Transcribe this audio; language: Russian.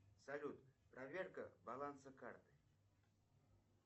салют проверка баланса карты